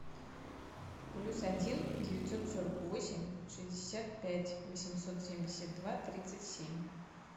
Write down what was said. плюс один девятьсот сорок восемь шестьдесят пять восемьсот семьдесят два тридцать семь